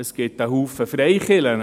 Es gibt zahlreiche Freikirchen.